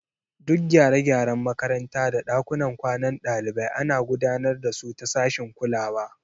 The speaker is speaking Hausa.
Duk gyare-gyaren makaranta da ɗakunan kwanan ɗalibai ana gudanar da su ta sashin kulawa.